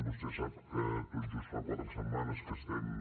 vostè sap que tot just fa quatre setmanes que estem